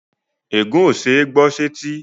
Ègún ó ṣeé gbọ́ sẹ́tí